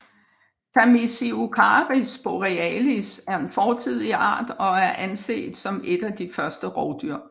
Tamisiocaris borealis er en fortidig art og er anset som et af de første rovdyr